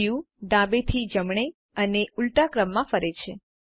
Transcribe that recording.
view ડાબેથી જમણે અને ઊલટા ક્રમમાં ફરે છે